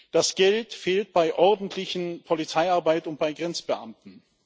Das Geld fehlt bei ordentlicher Polizeiarbeit und bei Grenzbeamten.